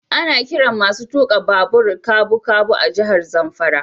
Ana kiran masun tuka babu kabukabu a jihar Zamfara.